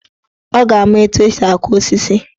Ọ ga-ama etu esi aku osisi.